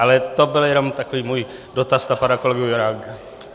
Ale to byl jenom takový můj dotaz na pana kolegu Juránka.